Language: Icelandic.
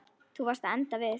Þú varst að enda við.